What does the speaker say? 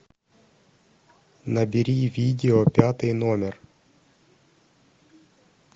набери видео пятый номер